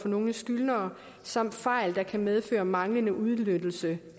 nogle skyldnere samt fejl der kan medføre manglende udnyttelse